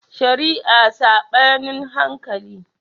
Shari'a Saɓanin hankali